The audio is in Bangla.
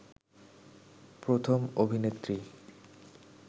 প্রথম অভিনেত্রী